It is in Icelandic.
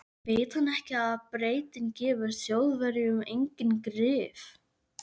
Veit hann ekki að Bretinn gefur Þjóðverjum engin grið?